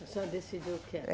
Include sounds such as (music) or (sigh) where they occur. A senhora decidiu (unintelligible)